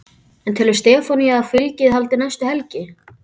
En telur Stefanía að fylgið haldi næstu helgi?